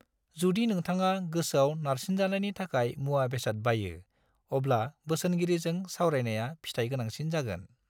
जुदि नोंथाङा गोसोआव नारसिनजानायनि थाखाय मुवा बेसाद बायो, अब्ला बोसोनगिरिजों सावरायनाया फिथाइ गोनांसिन जागोन।